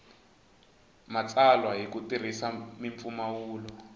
matsalwa hi ku tirhisa mimpfumawulo